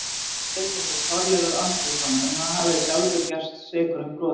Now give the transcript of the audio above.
Böðullinn hét Þorleifur Andrésson en hann hafði sjálfur gerst sekur um brot.